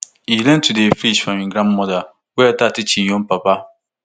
e learn to dey fish from im grandmother wey later teach im own papa